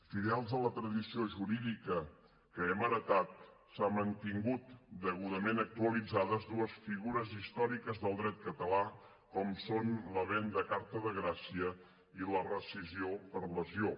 fidels a la tradició jurídica que hem heretat s’han mantingut degudament actualitzades dues figures històriques del dret català com són la venda a carta de gràcia i la rescissió per lesió